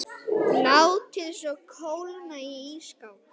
Látið svo kólna í ísskáp.